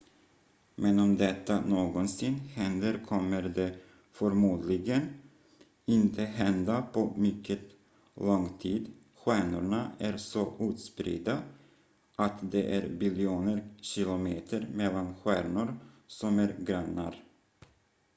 "men om detta någonsin händer kommer det förmodligen inte hända på mycket lång tid. stjärnorna är så utspridda att det är biljoner kilometer mellan stjärnor som är "grannar"".